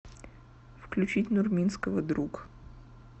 включить нурминского друг